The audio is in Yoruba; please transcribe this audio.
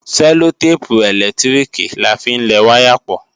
Sẹllotépù ẹ̀lẹ́tíríkì la fi ń lẹ wáyà pọ̀